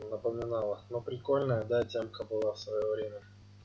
напоминала но прикольная да темка была в своё время